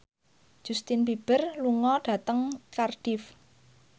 Justin Beiber lunga dhateng Cardiff